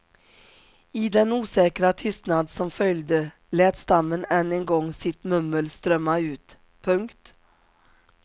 I den osäkra tystnad som följde lät stammen än en gång sitt mummel strömma ut. punkt